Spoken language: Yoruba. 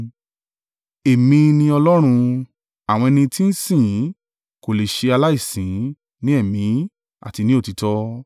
Ẹ̀mí ni Ọlọ́run: àwọn ẹni tí ń sìn ín kò lè ṣe aláìsìn ín ní Ẹ̀mí àti ní òtítọ́.”